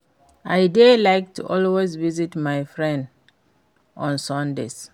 I dey like to always visit my friend on Sundays